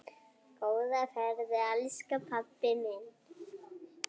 Góða ferð elsku pabbi minn.